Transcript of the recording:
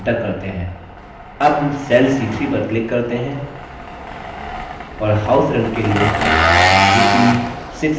अब हम cell c3 पर click करते हैं और house rent के लिए rupees 6000 type करते हैं